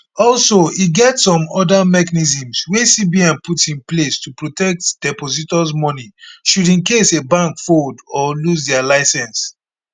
also e get some oda mechanisms wey cbn put in place to protect depositors money should in case a bank fold or lose dia licence